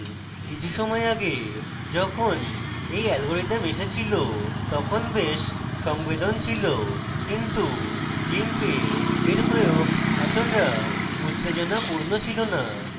কিছু সময় ago যখন এই অ্যালগরিদম এসেছিল তখন বেশ সংবেদন ছিল কিন্তু gimp এর প্রয়োগ এতটা উত্তেজনাপূর্ণ ছিল না